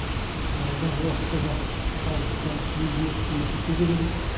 алдағы уақытта да халыққа елге қызмет ете береміз